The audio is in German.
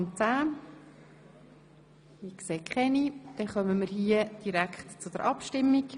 10? – Das ist nicht der Fall, wir kommen zur Abstimmung.